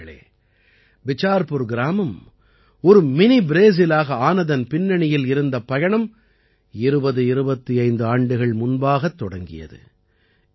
நண்பர்களே பிசார்புர் கிராமம் ஒரு மினி ப்ரேசிலாக ஆனதன் பின்னணியில் இருந்த பயணம் 2025 ஆண்டுகள் முன்பாகத் தொடங்கியது